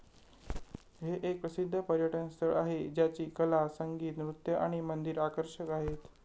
हे एक प्रसिद्ध पर्यटन स्थळ आहे ज्याची कला, संगीत, नृत्य आणि मंदिर आकर्षक आहेत.